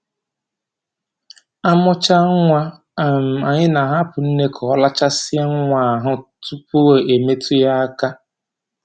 Amụchaa nwa, um anyị na-ahapụ nne ka ọ rachasịa nwa ya ahụ tupu e metụ ya um aka